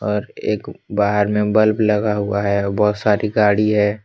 और एक बाहर में बल्ब लगा हुआ है और बहुत सारी गाड़ी है।